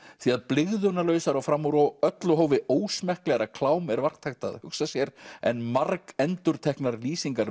því að blygðunarlausara og fram úr öllu hófi ósmekklegra klám er vart hægt að hugsa sér en margendurteknar lýsingar